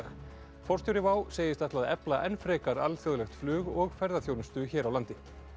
forstjóri segist ætla að efla enn frekar alþjóðlegt flug og ferðaþjónustu hér á landi